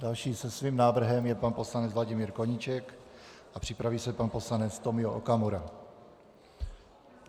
Další se svým návrhem je pan poslanec Vladimír Koníček a připraví se pan poslanec Tomio Okamura.